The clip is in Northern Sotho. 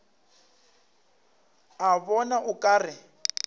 a bona o ka re